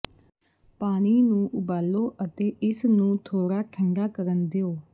ਪਾਣੀ ਨੂੰ ਉਬਾਲੋ ਅਤੇ ਇਸਨੂੰ ਥੋੜਾ ਠੰਡਾ ਕਰਨ ਦਿਓ